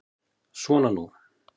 Svona nú.